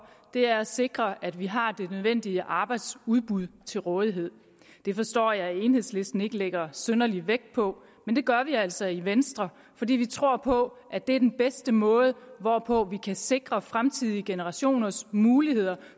er at sikre at vi har det nødvendige arbejdsudbud til rådighed det forstår jeg at enhedslisten ikke lægger synderlig vægt på men det gør vi altså i venstre fordi vi tror på at det er den bedste måde hvorpå vi kan sikre fremtidige generationers muligheder